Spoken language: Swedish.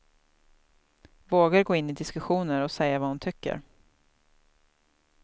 Vågar gå in i diskussioner och säga vad hon tycker.